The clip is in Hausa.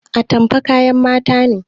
Atamfa kayan mata ne